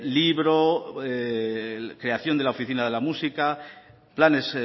libro creación de la oficina de la música planes